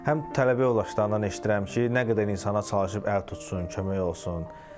Həm tələbə yoldaşlarından eşidirəm ki, nə qədər insana çalışıb əl tutsun, kömək olsun.